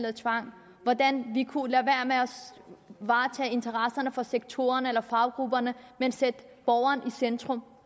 af tvang og hvordan vi kunne lade at varetage interesserne for sektorerne eller faggrupperne men sætte borgeren i centrum